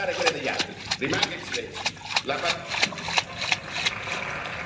Noi abbiamo sempre rispettato le Sue e Lei non ha alcuna autorizzazione a non rispettare quella degli altri.